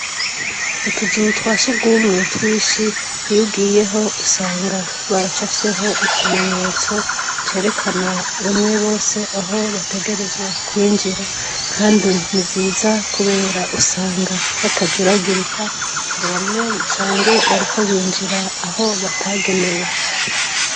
Utuzu twa surwumwe twinshi iyo ugiyeyo usanga bacafyeho ikimenyetso cerekana bamwe bose aho bategerezwa kwinjira kandi ni vyiza kubera usanga batajuragirika ngo bamwe usange bariko binjira ho batagenewe.